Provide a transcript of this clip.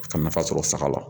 Ka nafa sɔrɔ saga la